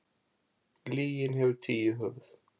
Lygin hefur tíu höfuð.